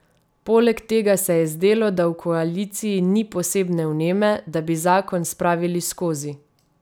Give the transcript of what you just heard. Poleg tega se je zdelo, da v koaliciji ni posebne vneme, da bi zakon spravili skozi.